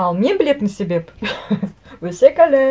ал мен білетін себеп өсек ыыы